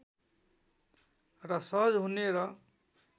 र सहज हुने र